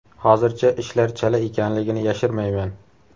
Hozircha ishlar chala ekanligini yashirmayman.